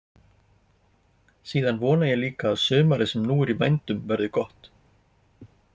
Síðan vona ég líka að sumarið sem nú er í vændum verði gott.